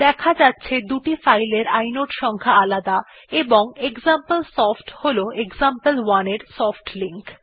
দেখা যাচ্ছে দুটি ফাইল এর ইনোড সংখ্যা আলাদা এবং এক্সাম্পলসফট হল এক্সাম্পল1 এর সফটলিঙ্ক